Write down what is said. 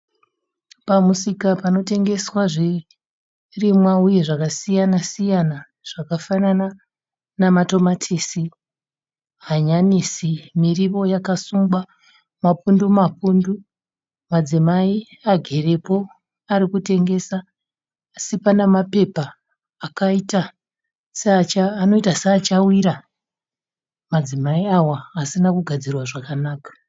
Pamusika panotengeswa zvirimwa uye zvakasiyana- siyana zvakafanana namatomatisi, hanyanisi, miriwo yakasungwa mapundu -mapundu. Madzimai agerepo ari kutengesa asi pana mapepa anoita seachawira madzimai awa asina kugadzirwa zvakanaka.